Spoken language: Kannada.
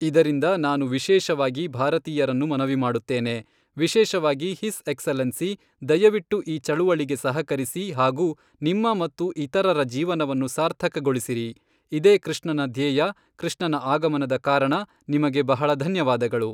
ಆದರಿಂದ ನಾನು ವಿಶೇಷವಾಗಿ ಭಾರತೀಯರನ್ನು ಮನವಿ ಮಾಡುತ್ತೇನೆ ವಿಶೇಷವಾಗಿ ಹಿಸ್ ಎಕ್ಸಲೆನ್ಸಿ ದಯವಿಟ್ಟು ಈ ಚಳುವಳಿಗೆ ಸಹಕರಿಸಿ ಹಾಗು ನಿಮ್ಮ ಮತ್ತು ಇತರರ ಜೀವನವನ್ನು ಸಾರ್ಥಕಗೊಳಿಸಿರಿ ಇದೇ ಕೃಷ್ಣನ ಧ್ಯೇಯ ಕೃಷ್ಣನ ಆಗಮನದ ಕಾರಣ ನಿಮಗೆ ಬಹಳ ಧನ್ಯವಾದಗಳು